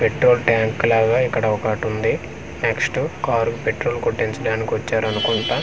Petrol tank లాగా ఇక్కడ ఒకటి ఉంది నెక్స్ట్ కార్ పెట్రోల్ కొట్టించడానికి వచ్చారు అనుకుంటా.